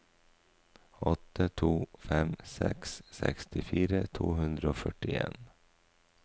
åtte to fem seks sekstifire to hundre og førtien